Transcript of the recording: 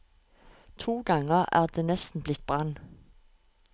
To ganger er det nesten blitt brann.